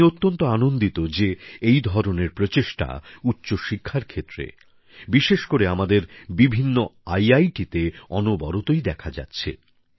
আমি অত্যন্ত আনন্দিত যে এই ধরনের প্রচেষ্টা উচ্চশিক্ষার ক্ষেত্রে বিশেষ করে আমাদের বিভিন্ন আইআইটিতে প্রায়শই ই দেখা যাচ্ছে